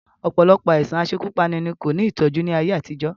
Ọ̀pọ̀lọpọ̀ àìsàn asekúpani ni kò ní ìtọ́jú ni ayé àtijọ́